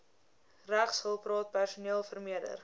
regshulpraad personeel vermeerder